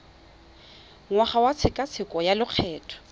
ngwaga wa tshekatsheko ya lokgetho